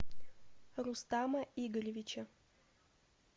рустама игоревича